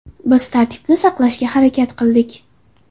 Biz tartibni saqlashga harakat qildik.